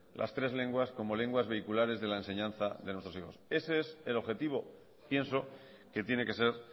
las tres lenguas como lenguas vehiculares de la enseñanza de nuestros hijos ese es el objetivo pienso que tiene que ser